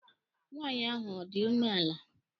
Nwaanyị ahụ ọ dị umeala?